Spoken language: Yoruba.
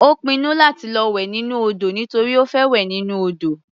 Ó pinnu láti lọ wẹ̀ nínú odò nítorí ó fẹ́ wẹ̀ nínú odò.